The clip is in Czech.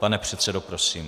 Pane předsedo, prosím.